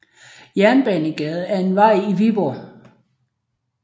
Jernbanegade er en vej i Viborg